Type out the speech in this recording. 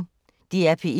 DR P1